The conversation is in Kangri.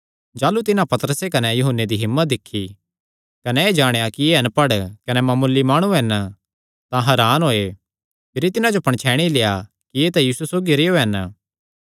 जाह़लू तिन्हां पतरसे कने यूहन्ने दी हिम्मत दिक्खी कने एह़ जाणेया कि एह़ अणपढ़ कने मामूली माणु हन तां हरान होये भिरी तिन्हां जो पणछैणी लेआ कि एह़ तां यीशु सौगी रेहयो हन